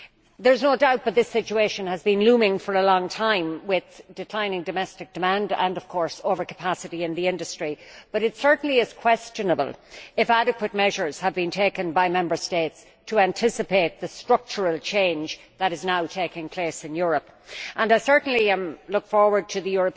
There is no doubt that this situation has been looming for a long time, with declining domestic demand and of course overcapacity in the industry, and it certainly is questionable whether adequate measures have been taken by Member States to anticipate the structural change that is now taking place in Europe. I certainly look forward to the